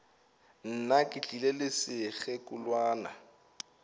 nna ke tlile le sekgekolwana